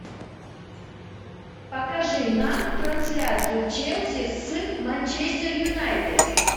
покажи нам трансляцию челси с манчестер юнайтед